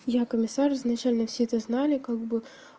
я комиссар изначально все это знали как бы